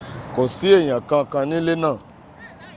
kò sí èyàn kan kan nílé ná